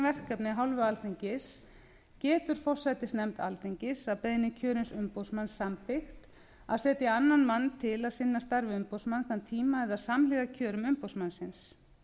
verkefni af hálfu alþingis getur forsætisnefnd alþingis að beiðni kjörins umboðsmanns samþykkt að setja annan mann til að sinna starfi umboðsmanns þann tíma eða samhliða kjörum umboðsmannsins